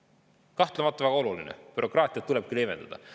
See on kahtlemata väga oluline: bürokraatiat tulebki leevendada.